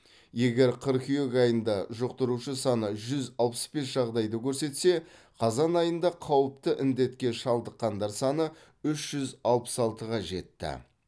егер қыркүйек айында жұқтырушы саны жүз алпыс бес жағдайды көрсетсе қазан айында қауіпті індетке шалдыққандар саны үш жүз алпыс алтыға жетті